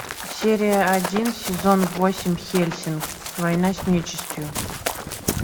серия один сезон восемь хельсинг война с нечистью